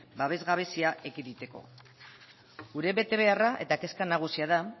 babes gabezia ekiditeko gure betebeharra eta kezka nagusia da